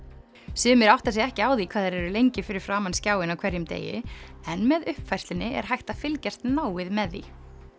sumir átta sig ekki á því hvað þeir eru lengi fyrir framan skjáinn á hverjum degi en með uppfærslunni er hægt að fylgjast náið með því